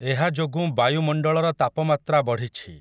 ଏହାଯୋଗୁଁ ବାୟୁମଣ୍ଡଳର ତାପମାତ୍ରା ବଢ଼ିଛି ।